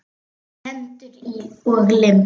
Hendur og lim.